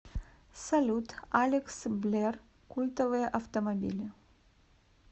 салют алекс блер культовые автомобили